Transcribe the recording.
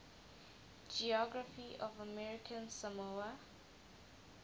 geography of american samoa